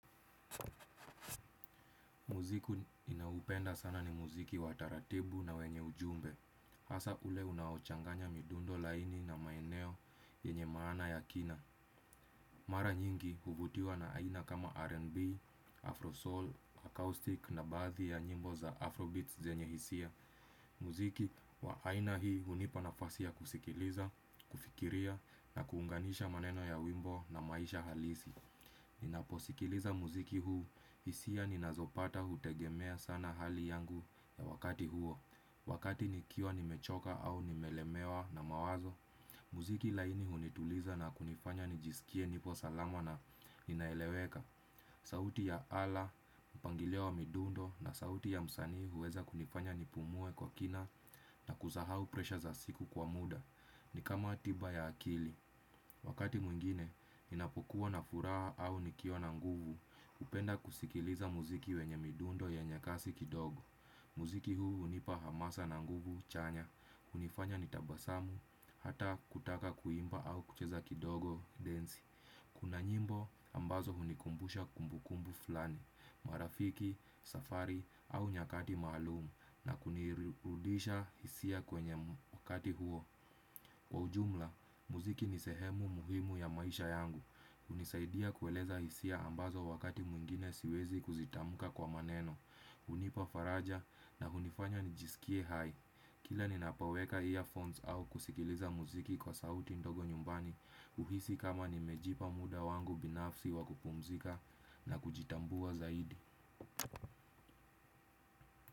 Muziki ninaoupenda sana ni muziki wa taratibu na wenye ujumbe. Hasa ule unaochanganya midundo laini na maeneo yenye maana ya kina. Mara nyingi huvutiwa na aina kama R&B, Afro Soul, Acoustic na baadhi ya nyimbo za Afro Beats zenye hisia. Muziki wa aina hii hunipa nafasi ya kusikiliza, kufikiria na kuunganisha maneno ya wimbo na maisha halisi. Ninaposikiliza muziki huu, hisia ninazopata hutegemea sana hali yangu ya wakati huo. Wakati nikiwa nimechoka au nimelemewa na mawazo muziki laini hunituliza na kunifanya nijisikie nipo salama na ninaeleweka. Sauti ya ala, mpangilio wa midundo na sauti ya msanii huweza kunifanya nipumue kwa kina na kuzahau presha za siku kwa muda. Ni kama tiba ya akili, wakati mwingine, ninapokuwa na furaha au nikiwa na nguvu, hupenda kusikiliza muziki wenye midundo yenye kasi kidogo. Muziki huu hunipa hamasa na nguvu chanya, hunifanya nitabasamu, hata kutaka kuimba au kucheza kidogo, densi. Kuna nyimbo ambazo hunikumbusha kumbu kumbu fulani, marafiki, safari au nyakati maalum na kunirudisha hisia kwenye wakati huo. Kwa ujumla, muziki ni sehemu muhimu ya maisha yangu. Hunisaidia kueleza hisia ambazo wakati mwingine siwezi kuzitamka kwa maneno. Hunipa faraja na hunifanya nijisikie hai kila ninapoweka earphones au kusikiliza muziki kwa sauti ndogo nyumbani. Huhisi kama nimejipa muda wangu binafsi wa kupumzika na kujitambua zaidi.